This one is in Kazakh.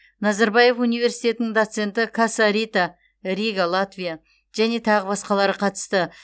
назарбаев университетінің доценті каса рита рига латвия және тағы басқалары қатысты